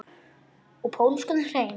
Og pólskan hreim.